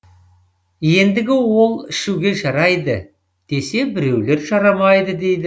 ендігі ол ішуге жарайды десе біреулер жарамайды дейді